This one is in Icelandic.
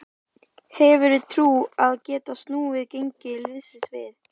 Þetta er átta tíma akstur hvora leið.